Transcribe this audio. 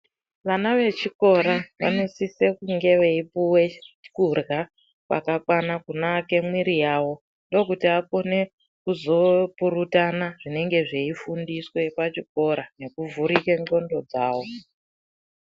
Vana vechikora vano sise kunge veipuwe kudya kwaka kwana kuno ake mwiri yavo ndokuti akune kuzo purutana zvinenge zvei fundiswe pachikora neku vhurike ndxondo dzawo.